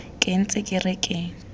ke ntse ke re ke